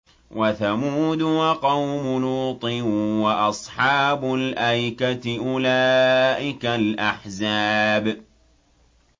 وَثَمُودُ وَقَوْمُ لُوطٍ وَأَصْحَابُ الْأَيْكَةِ ۚ أُولَٰئِكَ الْأَحْزَابُ